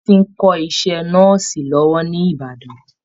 Bisi ń kọ́ iṣẹ́ Nọ́ọ̀sì lọ́wọ́ ní Ìbàdàn